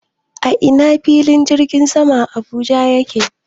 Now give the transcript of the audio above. A ina fillin jirgin saman Abuja yake?